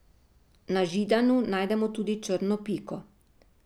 Na Židanu najdemo tudi črno piko.